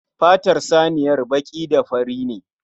Fatar saniyar baƙi da fari ne.